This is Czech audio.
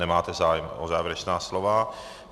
Nemáte zájem o závěrečná slova.